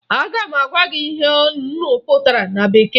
Aga m agwa gị ihe nnu pụtara na bekee